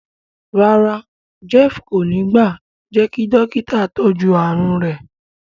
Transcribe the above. ràrá Jeff kò ní gba jé kí Dọ́kítà tọjú àrùn rẹ.